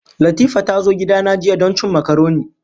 Latifa ta zo gidana jiya don cin makaroni.